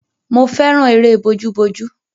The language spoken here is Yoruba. Mo fẹ́ràn eré bójú bójú.